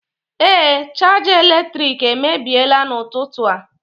ee, chaja eletrik emebiela n'ụtụtụ a